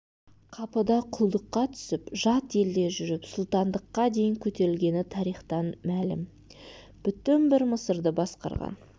қапыда құлдыққа түсіп жат елде жүріп сұлтандыққа дейін көтерілгені тарихтан мәлім бүтін бір мысырды басқарған